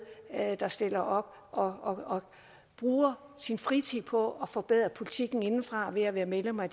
der stiller op og og bruger sin fritid på at forbedre politikken indefra ved at være medlem af